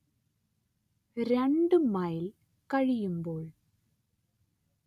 രണ്ട്‌ മൈൽ കഴിയുമ്പോൾ